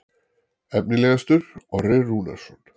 Efnilegastur: Orri Rúnarsson.